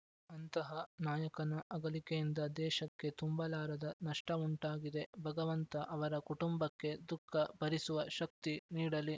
ಅಂತಹ ನಾಯಕನ ಅಗಲಿಕೆಯಿಂದ ದೇಶಕ್ಕೆ ತುಂಬಲಾರದ ನಷ್ಟವುಂಟಾಗಿದೆ ಭಗವಂತ ಅವರ ಕುಟುಂಬಕ್ಕೆ ದುಃಖ ಭರಿಸುವ ಶಕ್ತಿ ನೀಡಲಿ